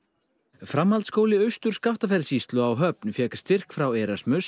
framhaldsskóli Austur Skaftafellssýslu á Höfn fékk styrk frá